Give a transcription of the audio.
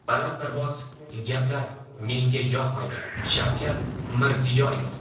Balandparvoz gaplar menga yoqmaydi” Shavkat Mirziyoyev.